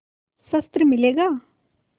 शस्त्र मिलेगा